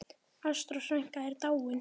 Ástrós frænka er dáin.